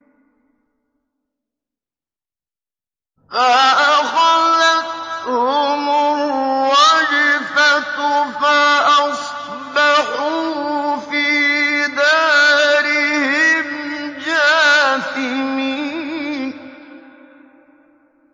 فَأَخَذَتْهُمُ الرَّجْفَةُ فَأَصْبَحُوا فِي دَارِهِمْ جَاثِمِينَ